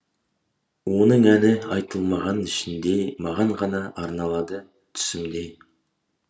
оның әні айтылмаған ішінде маған ғана арналады түсімде